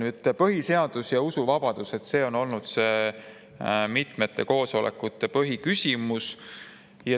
Nüüd, põhiseadus ja usuvabadus on olnud mitmete koosolekute põhiküsimus.